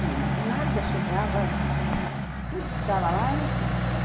Bem, mas nada chegava... Tudo que estava lá, eu não queria.